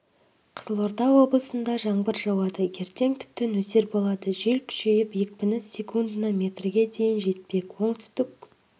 қызылорда облысында жаңбыр жауады ертең тіпті нөсер болады жел күшейіп екпіні секундына метрге дейін жетпек оңтүстік